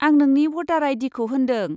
आं नोंनि भटार आइ.डि.खौ होनदों।